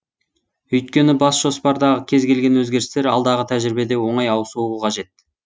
өйткені бас жоспардағы кез келген өзгерістер алдағы тәжірибеде оңай ауысуы қажет